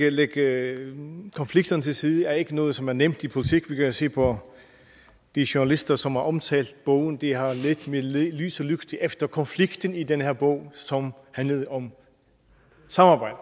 og lægge konflikterne til side er ikke noget som er nemt i politik vi kan jo bare se på de journalister som har omtalt bogen de har ledt med lys og lygte efter konflikten i den her bog som handler om samarbejde